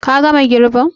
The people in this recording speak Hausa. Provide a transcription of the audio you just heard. Ka gama girbin?